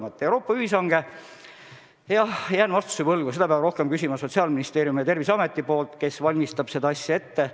Mis puutub Euroopa ühishankesse, siis jään vastuse võlgu, seda peab küsima Sotsiaalministeeriumist ja Terviseametist, kes valmistab seda ette.